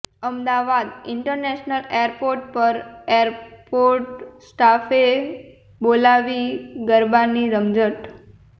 Ahmedabad international airport પર airport સ્ટાફે બોલાવી ગરબાની રમઝટ